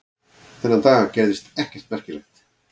Þennan dag gerðist ekkert merkilegt.